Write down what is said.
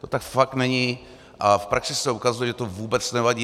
To tak fakt není a v praxi se ukazuje, že to vůbec nevadí.